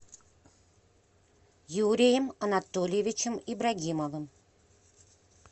юрием анатольевичем ибрагимовым